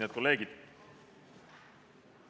Head kolleegid!